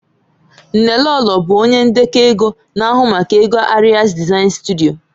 Nnelolo bụ onye ndekọ ego na-ahụ maka ego Aries Design Studio